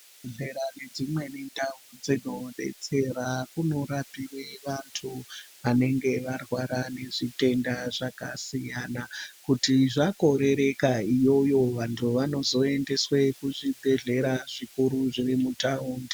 Zvibhehlera nedzimwe ndau dzinodetsera kunorapiwe vantu vanenge varwara nezvitenda zvakasiyana kuti zvakorereka iyoyo vantu vanozoendeswe kuzvibhehlera zvikuru zviri mutaundi.